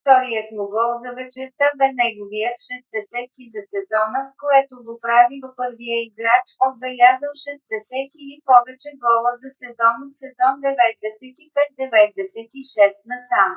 вторият му гол за вечерта бе неговият 60 - ти за сезона което го прави в първия играч отбелязал 60 или повече гола за сезон от сезон 95 – 96 насам